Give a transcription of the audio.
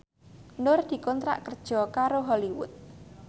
Nur dikontrak kerja karo Hollywood